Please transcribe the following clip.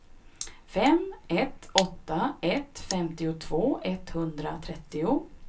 fem ett åtta ett femtiotvå etthundratrettio